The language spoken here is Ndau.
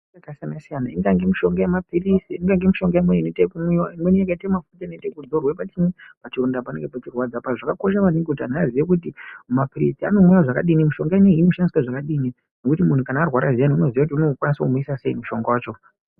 ..yakasiyana-siyana ingange mishonga yemaphilizi ingange mishonga imweni inoita yekumwiwa. Imweni yakaite mafuta anenge achidzorwe pachii, pachironda panenge pachirwadza pacho. Zvakakosha maningi kuti antu aziye kuti maphirisi anomwiwa zvakadini, mishonga inoyi inoshandiswe zvakadini nekuti munhu kana arwara zviyani unoziya kuti unokwanisa kumwisa sei mushonga wacho.